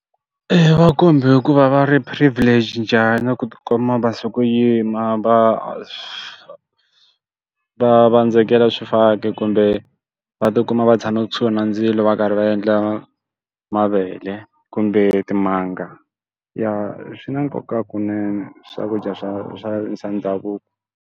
Eya, va kombe hi ku va va ri privileged njhani ku ti kuma va sukuyima va va vandzekela swifaki kumbe va ti kuma va tshame kusuhi na ndzilo va karhi va endla mavele kumbe timanga. Ya swi na nkoka kunene swakudya swa swa swa ndhavuko.